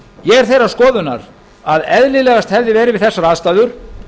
ég er þeirrar skoðunar að eðlilegast hefði verið við þessar aðstæður